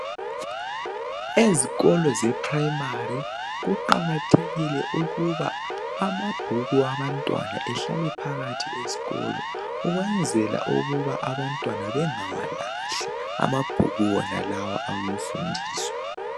Ezikolo zeprimari kuqakathekile ukuba amabhuku abantwana ehlale phakathi esikolo ukwenzela ukuba abantwana bengawalahli Amabhuku wonalawa awemfundiso.